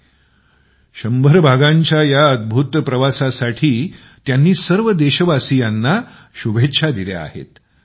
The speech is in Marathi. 100 भागांच्या या अद्भुत प्रवासासाठी त्यांनी सर्व देशवासियांना शुभेच्छा दिल्या आहेत